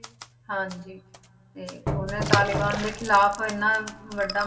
ਹਾਂਜੀ ਤੇ ਉਹਨੇ ਤਾਲੀਬਾਨ ਦੇ ਖਿਲਾਫ਼ ਇੰਨਾ ਵੱਡਾ